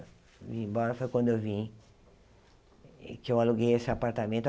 Vim embora foi quando eu vim, que eu aluguei esse apartamento.